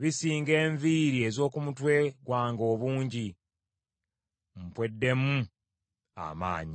bisinga enviiri ez’oku mutwe gwange obungi, mpweddemu amaanyi.